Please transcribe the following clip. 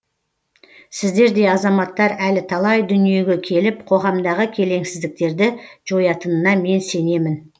сіздердей азаматтар әлі талай дүниеге келіп қоғамдағы келеңсіздіктерді жоятынына мен сенемін